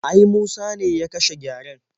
Ai Musa ne ya kashe gyaren.